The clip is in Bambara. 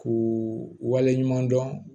K'u wale ɲuman dɔn